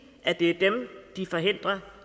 at det er dem de forhindrer